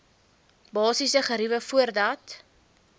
basiese geriewe voordat